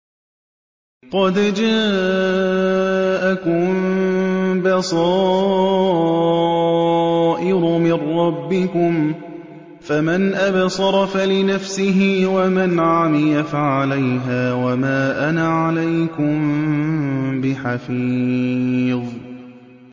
قَدْ جَاءَكُم بَصَائِرُ مِن رَّبِّكُمْ ۖ فَمَنْ أَبْصَرَ فَلِنَفْسِهِ ۖ وَمَنْ عَمِيَ فَعَلَيْهَا ۚ وَمَا أَنَا عَلَيْكُم بِحَفِيظٍ